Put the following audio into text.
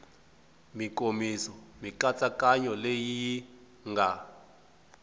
mikomiso mikatsakanyo leyi yi nga